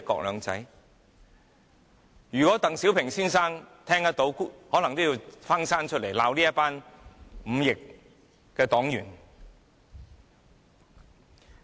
如果鄧小平聽到，可能也要翻生出來罵這些忤逆的黨員。